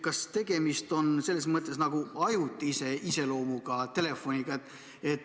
Kas tegemist on ajutise iseloomuga telefoniga?